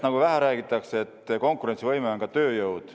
Vähe räägitakse sellest, et konkurentsivõime on ka tööjõud.